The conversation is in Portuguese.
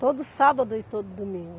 Todo sábado e todo domingo.